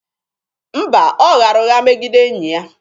Mba, ọ ghara ụgha megide enyi ya.